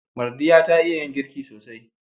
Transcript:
Mardiya ta iya yin girki sosai.